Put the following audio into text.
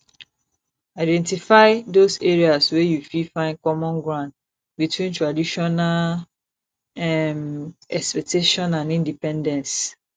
identify those areas wey you fit find common ground between traditional um expectation and independence